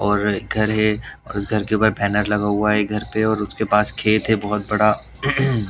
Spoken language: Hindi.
और एक घर है और उस घर के ऊपर बैनर लगा हुआ है घर पे और उसके पास खेत है बहोत बड़ा।